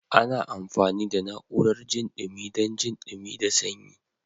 Ana amfani da na'urar jin dumi dan jin dumi da sanyi.